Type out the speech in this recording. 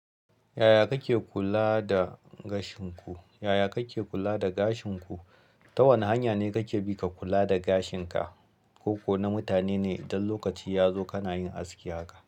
Yaya kake kula da gashin ku? Yaya kake kula da gashin ku? Ta wane hanya ne kake bi ka kula da gashin ka? Koko na mutane ne idan lokaci ya zo kana yin aski haka.